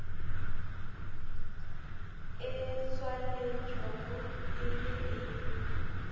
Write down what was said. e tswaletšwego e be e